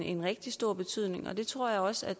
en rigtig stor betydning det tror jeg også at